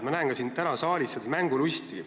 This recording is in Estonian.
Ma näen ka täna siin saalis mängulusti.